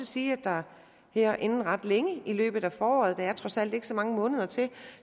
sige at der her inden ret længe i løbet af foråret der er trods alt ikke så mange måneder til